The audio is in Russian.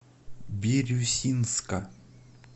бирюсинска